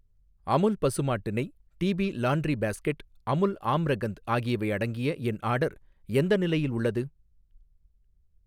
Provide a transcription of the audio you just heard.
அமுல் பசுமாட்டு நெய், TP laundry basket, Amul Amrakhand ஆகியவை அடங்கிய என் ஆர்டர் எந்த நிலையில் உள்ளது?